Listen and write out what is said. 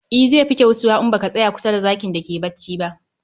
E, zai fi kyautuwa in ba a tsaya kusa da zakin da ke bacci ba